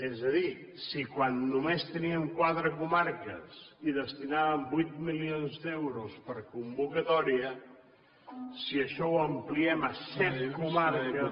és a dir si quan només teníem quatre comarques hi destinàvem vuit milions d’euros per convocatòria si això ho ampliem a set comarques